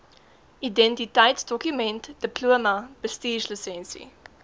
identiteitsdokument diploma bestuurslisensie